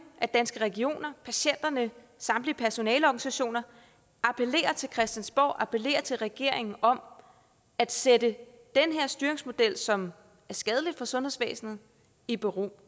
at danske regioner patienterne samtlige personaleorganisationer appellerer til christiansborg appellerer til regeringen om at sætte den her styringsmodel som er skadelig for sundhedsvæsenet i bero